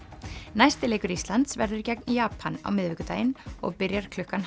næsti leikur Íslands verður gegn Japan á miðvikudaginn og byrjar klukkan